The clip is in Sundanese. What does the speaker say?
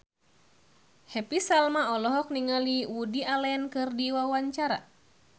Happy Salma olohok ningali Woody Allen keur diwawancara